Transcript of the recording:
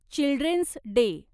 children's day